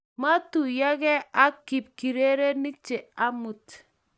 maituyegei ak kip urerenik chee amut.